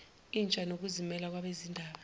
intsha nokuzimela kwabezindaba